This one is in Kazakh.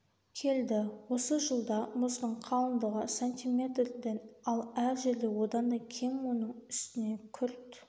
келді осы жылда мұздың қалындығы сантиметрден ал әр жерде одан да кем оның үстіне күрт